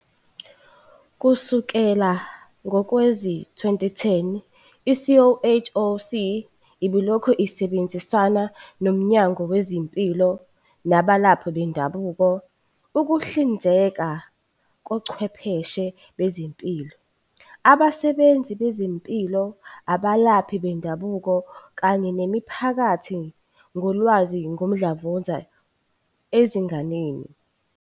Kusukela ngowezi-2011, i-CHOC ibilokhu isebenzisana noMnyango Wezempilo nabalaphi bendabuko ukuhlinzeka ngochwepheshe bezempilo, abasebenzi bezempilo, abalaphi bendabuko kanye nemiphakathi ngolwazi ngomdlavuza ezinganeni.